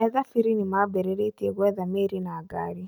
Ethabĩri nimambĩrĩrĩtie kwetha mĩĩri na ngari